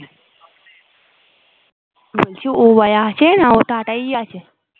বলছি ও বাড়ি আছে নাকি ওই টাটাই আছে